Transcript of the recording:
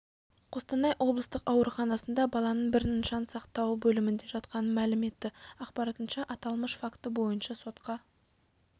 қостанай облыстық ауруханасында баланың бірінің жан сақтау бөлімінде жатқанын мәлім етті ақпарынша аталмыш факті бойынша сотқа